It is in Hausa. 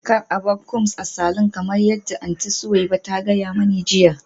Kar a bar combs a saloon kamar yadda Aunty Suweiba ta gaya mani jiya